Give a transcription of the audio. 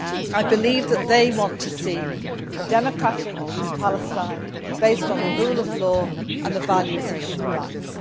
I believe that they want to see a democratic Palestine, based on the rule of law and the values of human rights.